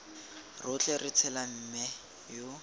rotlhe re tshela mme yo